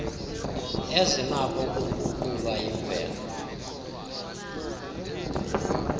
ezinakho ukuguqulwa yimvelo